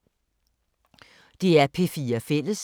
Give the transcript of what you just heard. DR P4 Fælles